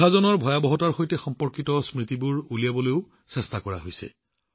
বিভাজনৰ ভয়াৱহতাৰ সৈতে সম্পৰ্কিত স্মৃতিবোৰ কঢ়িয়াই অনাৰ চেষ্টা কৰা হৈছে